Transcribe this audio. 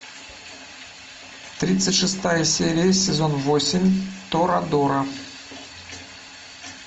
тридцать шестая серия сезон восемь торадора